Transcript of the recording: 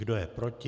Kdo je proti?